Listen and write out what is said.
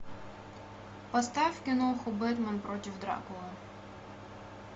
поставь киноху бэтмен против дракулы